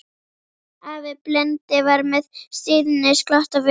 Afi blindi var með stríðnisglott á vör.